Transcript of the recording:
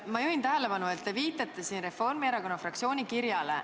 Ma juhin tähelepanu, et te viitate siin Reformierakonna fraktsiooni kirjale.